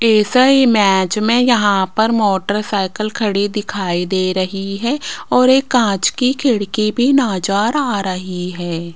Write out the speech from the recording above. इस इमेज में यहां पर मोटरसाइकिल खड़ी दिखाई दे रही है और एक कांच की खिड़की भी नजर आ रही है।